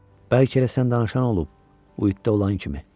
Bəlkə elə sən danışan olub, Uidə olan kimi.